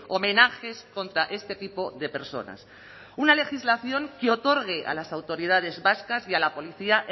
homenajes contra este tipo de personas una legislación que otorgue a las autoridades vascas y a la policía